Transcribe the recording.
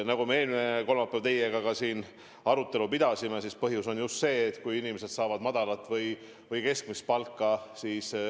Nagu me eelmine kolmapäev teiega siin arutasime, haigustunnustega tööle tuleku põhjus on just see, et inimesed saavad madalat või keskmist palka.